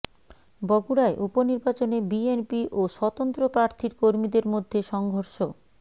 বগুড়ায় উপনির্বাচনে বিএনপি ও স্বতন্ত্র প্রার্থীর কর্মীদের মধ্যে সংঘর্ষ